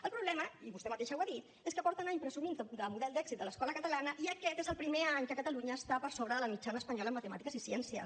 el problema i vostè mateixa ho ha dit és que fa anys que presumeixen de model d’èxit de l’escola catalana i aquest és el primer any que catalunya està per sobre de la mitjana espanyola en matemàtiques i ciències